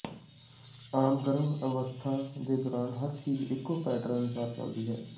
ਆਮ ਗਰਭ ਅਵਸਥਾ ਦੇ ਦੌਰਾਨ ਹਰ ਚੀਜ ਇੱਕੋ ਪੈਟਰਨ ਅਨੁਸਾਰ ਚਲਦੀ ਹੈ